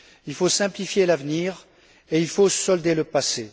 Il faut simplifier l'avenir et il faut solder le passé.